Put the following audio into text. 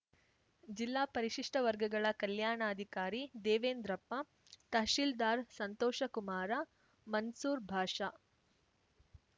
ಜಿಲ್ಲಾ ಪರಿಶಿಷ್ಟವರ್ಗಗಳ ಕಲ್ಯಾಣಾಧಿಕಾರಿ ದೇವೇಂದ್ರಪ್ಪ ತಹಶೀಲ್ದಾರ್‌ ಸಂತೋಷ ಕುಮಾರ ಮನ್ಸೂರ್‌ ಬಾಷಾ